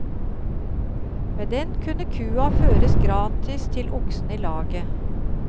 Med den kunne kua føres gratis til oksen i laget.